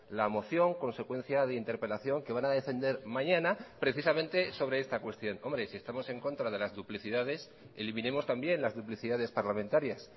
la moción consecuencia de interpelación que van a defender mañana precisamente sobre esta cuestión hombre si estamos en contra de las duplicidades eliminemos también las duplicidades parlamentarias